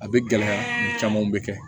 A bɛ gɛlɛya camanw bɛ kɛ